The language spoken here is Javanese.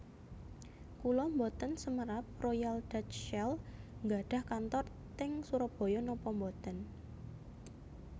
Kula mboten semerap Royal Dutch Shell nggadhah kantor teng Surabaya nopo mboten